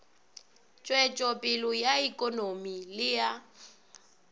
tšwetšopele ya ikonomi le ya